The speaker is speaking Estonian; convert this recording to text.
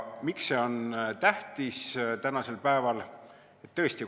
Miks see on tänasel päeval tähtis?